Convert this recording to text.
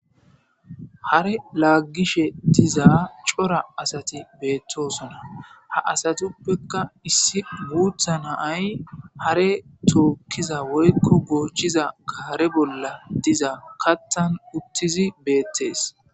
Hare laaggishe diza cora asati beettosona ha asatuppekka issi guutha naay hare tookkiza woykko goochiza kaare bolla diza kattan uttizi beettees.